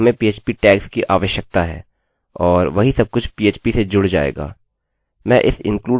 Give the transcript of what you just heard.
यह php codes हैं और हमें php टैग्स की आवश्यकता है और वही सबकुछ php से जुड़ जाएगा